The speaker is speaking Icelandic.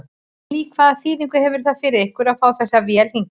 Lillý: Hvaða þýðingu hefur það fyrir ykkur að fá þessa vél hingað?